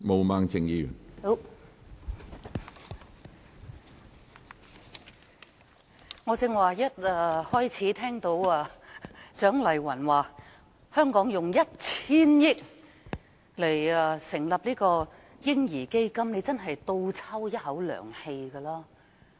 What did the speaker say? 當我聽到蔣麗芸議員一開始時建議香港動用 1,000 億元成立"嬰兒基金"時，真的倒抽一口涼氣。